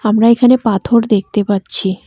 আমরা এখানে পাথর দেখতে পাচ্ছি।